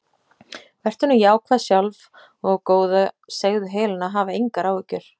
Vertu nú jákvæð sjálf og góða segðu Helenu að hafa engar áhyggjur.